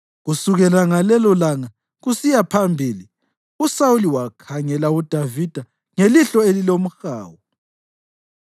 Kusukela ngalelolanga kusiya phambili uSawuli wakhangela uDavida ngelihlo elilomhawu.